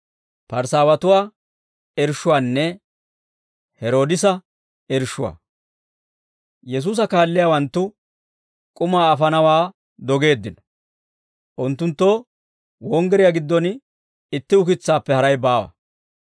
Yesuusa kaalliyaawanttu k'umaa afanawaa dogeeddino; unttunttoo wonggiriyaa giddon itti ukitsaappe haray baawa.